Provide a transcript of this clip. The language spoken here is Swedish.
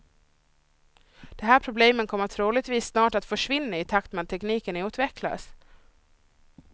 De här problemen kommer troligtvis snart att försvinna i takt med att tekniken utvecklas.